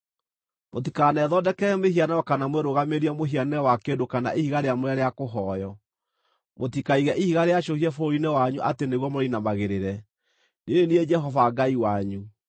“ ‘Mũtikanethondekere mĩhianano kana mwĩrũgamirie mũhianĩre wa kĩndũ kana ihiga rĩamũre rĩa kũhooywo, mũtikaige ihiga rĩacũhie bũrũri-inĩ wanyu atĩ nĩguo mũrĩinamagĩrĩre. Niĩ nĩ niĩ Jehova Ngai wanyu.